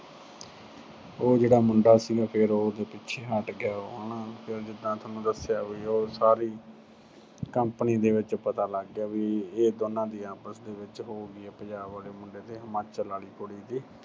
ਉਹ ਜਿਹੜਾ ਮੁੰਡਾ ਸੀ, ਫਿਰ ਉਹ ਪਿੱਛੇ ਹਟ ਗਿਆ ਹਨਾ ਜਾਂ ਜਿਦਾਂ ਥੋਨੂੰ ਦੱਸਿਆ ਉਹ ਸਾਰੀ company ਦੇ ਵਿੱਚ ਪਤਾ ਲੱਗ ਗਿਆ ਵੀ ਇਹ ਦੋਨਾਂ ਦੀ ਆਪਸ ਵਿੱਚ ਹੋ ਗਈ ਆ, ਪੰਜਾਬ ਵਾਲੇ ਮੁੰਡੇ ਤੇ ਹਿਮਾਚਲ ਆਲੀ ਕੁੜੀ ਦੀ